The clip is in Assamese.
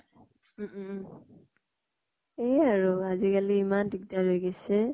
উম উম উম । সেয়ে আৰু আজি কালি ইমান দিগ্দাৰ হয় গিছে।